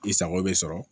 I sago bɛ sɔrɔ